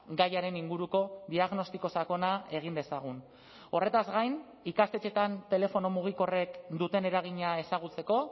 gaiaren inguruko diagnostiko sakona egin dezagun horretaz gain ikastetxetan telefono mugikorrek duten eragina ezagutzeko